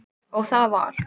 Og það var